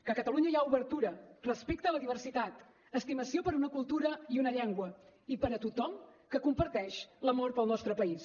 que a catalunya hi ha obertura respecte a la diversitat estimació per a una cultura i una llengua i per a tothom que comparteix l’amor pel nostre país